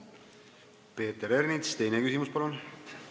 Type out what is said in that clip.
Peeter Ernits, teine küsimus, palun!